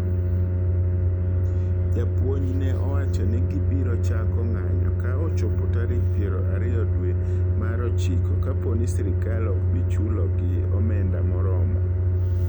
Jopuonj ne owacho ni gibiro chako ng'anyo ka ochopo tarik piero ariyo dwee mar ochiko kapooni sirkal okbichulogi omenda moromo.